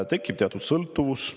Tekib teatud sõltuvus.